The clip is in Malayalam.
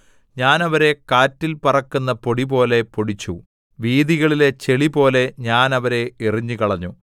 ഞാൻ അവരെ കാറ്റിൽ പറക്കുന്ന പൊടിപോലെ പൊടിച്ചു വീഥികളിലെ ചെളിപോലെ ഞാൻ അവരെ എറിഞ്ഞുകളഞ്ഞു